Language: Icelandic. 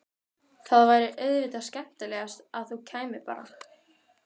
Það væri auðvitað skemmtilegast að þú kæmir bara!